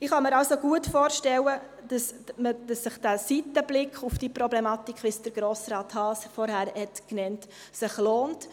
Ich kann mir also gut vorstellen, dass sich der Seitenblick auf diese Problematik, wie Grossrat Haas es vorhin genannt hat, lohnt.